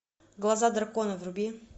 глаза дракона вруби